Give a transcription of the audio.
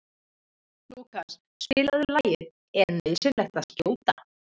Lúkas, spilaðu lagið „Er nauðsynlegt að skjóta“.